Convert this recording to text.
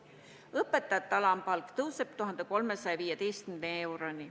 Õpetajate alampalk tõuseb 1315 euroni.